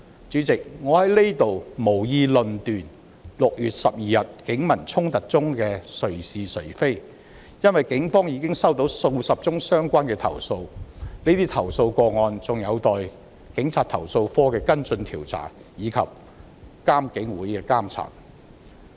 主席，我在這裏無意論斷6月12日警民衝突中誰是誰非，因為警方已接獲數十宗相關的投訴，有待投訴警察課的跟進調查及獨立監察警方處理投訴委員會的監察。